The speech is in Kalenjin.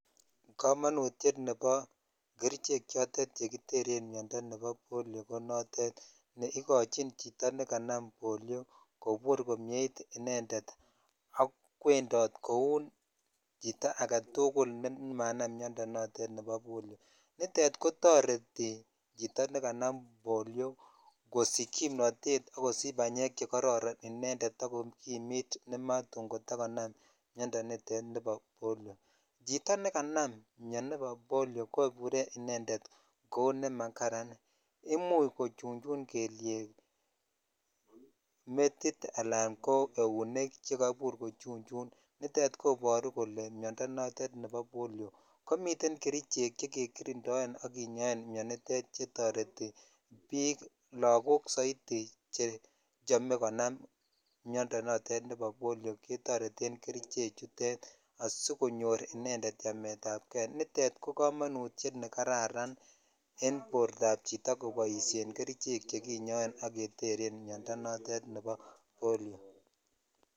Komonutiet nebo kerichek chotet chekiteren miondo nebo polio ko notet neikochin chito nekanam polio kobur komnyeit inendet ak kwondot kouu chito aketukul nemanam miondo notet nebo polo, nitet ko toreti chito nekanam polio kosich kimnotet ak kosich banyek chekororon inendet ak kokimit nematun kotakonam miondo nitet nibo polio, chito nekanam mioni bo polio kobure inendet kouu nemakaran, imuch kochunchun kelyek, metit alaan ko eunek chekoibur ko chunchun, nitet koboru kolee miondo notet nebo polio, komien kerichek chekekirindoen ak kinyoen mionitet chetoreti biik lokok soiti chechome konam miondo notet nebo polio ketoreten keriche chutet asikonyor inendet chametabke, nitet ko komonutiet nekararan en bortab chito koboishen kerichek chekinyoen ak keteren miondo notet nebo polio.